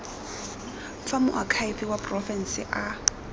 fa moakhaefe wa porofense a